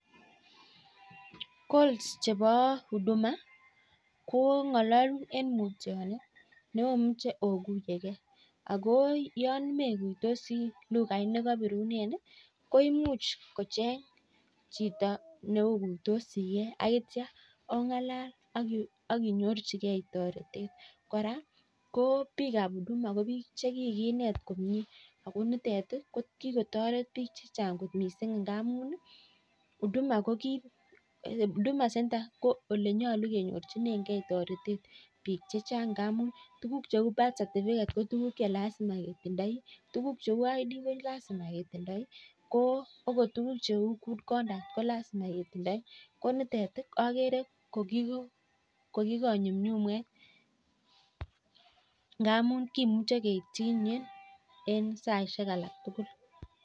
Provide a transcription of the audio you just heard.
(calls ab huduma) ko ngalalun eng mutyanet koraa kikinet komnyee ako kikotoret bik chechang ak (id, birthday certificate) kolazima ketindoi